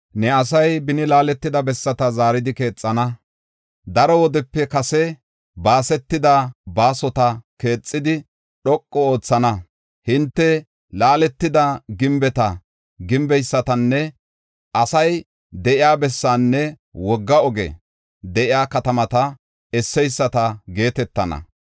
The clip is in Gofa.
Ne asay beni laaletida bessata zaaridi keexana; daro wodepe kase baasetida baasota keexidi dhoqu oothana. Hinte ‘Laaletida gimbeta gimbeysatanne asay de7iya bessaanne wogga ogey de7iya katamata esseyisata geetetana.’